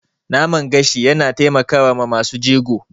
Naman gashi yana taimakawa masu jego.